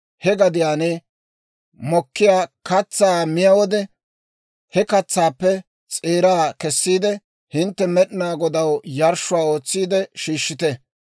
he gadiyaan mokkiyaa katsaa miyaa wode, he katsaappe s'eeraa kessiide, hintte Med'inaa Godaw yarshshuwaa ootsiide shiishshite.